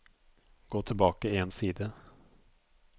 Gå tilbake én side